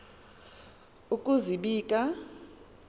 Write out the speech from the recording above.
ukuzibika